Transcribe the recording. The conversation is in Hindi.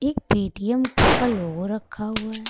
एक पेटीएम का लोगो रखा हुआ है।